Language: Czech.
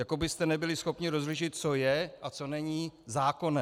Jako byste nebyli schopni rozlišit, co je a co není zákonné.